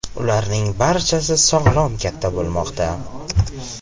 Ularning barchasi sog‘lom katta bo‘lmoqda.